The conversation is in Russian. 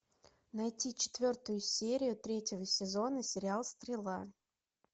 найти четвертую серию третьего сезона сериал стрела